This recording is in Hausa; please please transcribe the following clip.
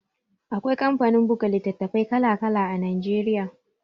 Akwai kamfanin buga litattafai kala-kala Najeriya.